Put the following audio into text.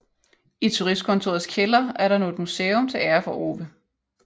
I turistkontorets kælder er der nu et museum til ære for Ove